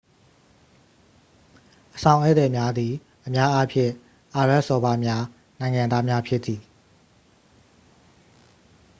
အဆောင်ဧည့်သည်များသည် အများအားဖြင့် အာရဗ်စော်ဘွားများ နိုင်ငံသားများဖြစ်သည်